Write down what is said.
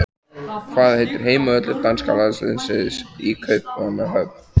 Hvað heitir heimavöllur danska landsliðsins í Kaupmannahöfn?